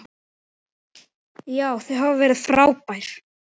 Já, þau hafa verið frábær.